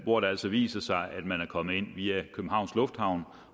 hvor det altså viser sig at man er kommet ind via københavns lufthavn